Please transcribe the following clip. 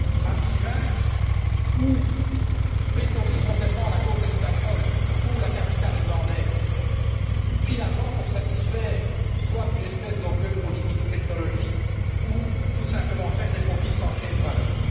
à Sivens ou pour bétonner complètement la côte espagnole ou la capitale irlandaise et, finalement, pour satisfaire soit une espèce d'orgueil politique ou technologique ou, tout simplement, pour faire des profits sans créer de valeurs.